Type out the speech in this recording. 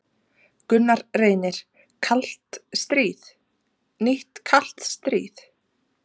Gunnar Reynir: Kalt stríð, nýtt kalt stríð?